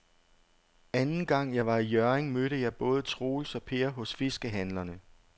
Anden gang jeg var i Hjørring, mødte jeg både Troels og Per hos fiskehandlerne.